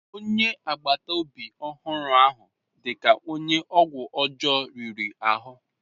Onye agbata obi ọhụrụ ahụ dị ka onye ọgwụ ọjọọ riri ahụ.